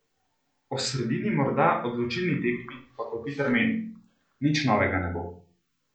O sredini morda odločilni tekmi, pa Kopitar meni: "Nič novega ne bo.